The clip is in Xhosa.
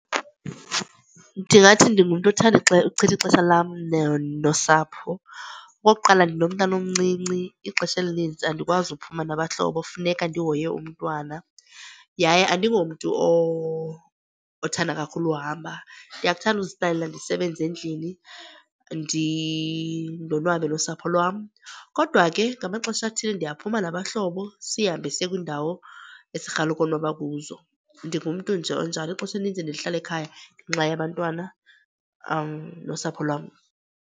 Ndingathi ndingumntu othanda uchitha ixesha lam nosapho. Okokuqala ndinomntana omncinci, ixesha elinintsi andikwazi ukuphuma nabahlobo funeka ndihoye umntwana. Yaye andingomntu othanda kakhulu uhamba, ndiyakuthanda uzihlalela ndisebenze endlini ndonwabe nosapho lwam. Kodwa ke ngamaxesha athile ndiyaphuma nabahlobo sihambe siye kwiindawo esirhalela ukonwaba kuzo. Ndingumntu nje onjalo, ixesha elininzi ndilihlala ekhaya ngenxa yabantwana nosapho lwam.